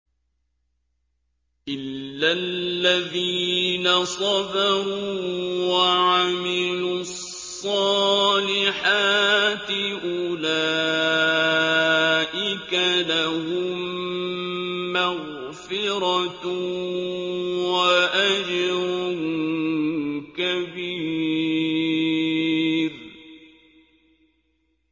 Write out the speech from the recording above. إِلَّا الَّذِينَ صَبَرُوا وَعَمِلُوا الصَّالِحَاتِ أُولَٰئِكَ لَهُم مَّغْفِرَةٌ وَأَجْرٌ كَبِيرٌ